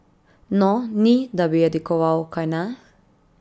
No, ni, da bi jadikoval, kajne?